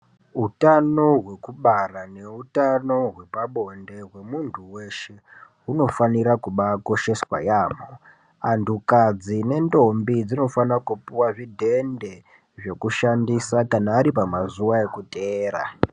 Utano wekubara neutano hwepabonde hwemunhu weshe hunofanira kubaikosheswa yambo vandukadzi nendombi dzinofanirakupiwa zvidhende zvekushandisa kana vari pamazuva ekutevera.